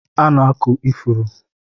A na-akụ ifuru